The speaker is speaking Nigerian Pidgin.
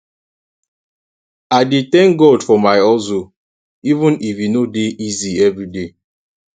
i dey tank god for my hustle even if e no easy evriday